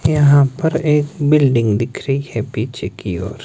यहां पर एक बिल्डिंग दिख रही है पीछे की ओर।